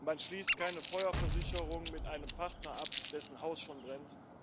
Man schließt keine Feuerversicherung mit einem Partner ab, dessen Haus schon brennt.